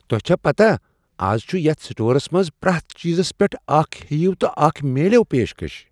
تۄہہ چھا پتاہ از چُھ یتھ سٹورس منٛز پرٛیتھ چیزس پیٹھ اکھ ہییو٘ تہٕ اكھ میلِوٕ پیشکش؟